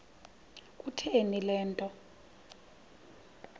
kutheni le nto